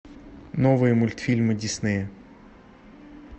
новые мультфильмы диснея